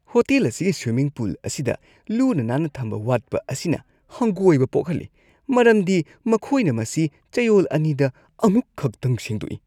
Hotel ꯑꯁꯤꯒꯤ swimming pool ꯑꯁꯤꯗ ꯂꯨꯅ ꯅꯥꯟꯅ ꯊꯝꯕ ꯋꯥꯠꯄ ꯑꯁꯤꯅ ꯍꯪꯒꯣꯏꯕ ꯄꯣꯛꯍꯜꯂꯤ ꯃꯔꯝꯗꯤ ꯃꯈꯣꯏꯅ ꯃꯁꯤ ꯆꯌꯣꯜ ꯑꯅꯤꯗ ꯑꯃꯨꯛꯈꯛꯇꯪ ꯁꯦꯡꯗꯣꯛꯏ ꯫